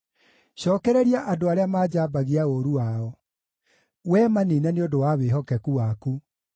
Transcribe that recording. Cookereria andũ arĩa manjambagia ũũru wao; Wee maniine nĩ ũndũ wa wĩhokeku waku.